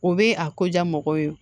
O bɛ a ko ja mɔgɔw ye